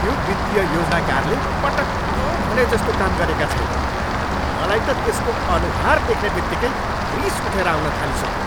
त्यो वित्तीय योजनाकारले पटक्क भनेजस्तो काम गरेका छैन। मलाई त त्यसको अनुहार देख्ने बित्तिकै रिस उठेर आउन थालिसक्यो।